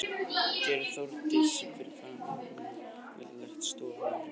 Gerði Þórdís sem fyrir hana var lagt og gekk til stofu að því loknu.